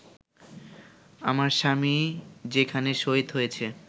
আমার স্বামী যেখানে শহীদ হয়েছে